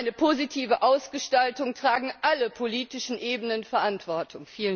Für seine positive Ausgestaltung tragen alle politischen Ebenen Verantwortung.